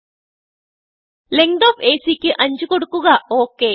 okay length of AC ക്ക് 5കൊടുക്കുക